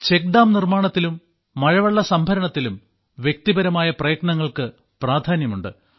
check dam നിർമ്മാണത്തിലും മഴവെള്ള സംഭരണത്തിലും വ്യക്തിപരമായ പ്രയത്നങ്ങൾക്ക് പ്രാധാന്യമുണ്ട്